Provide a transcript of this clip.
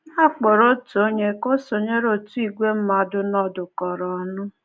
A kpọrọ otu onye ka o sonyere otu ìgwè mmadụ nọdụkọrọ ọnụ.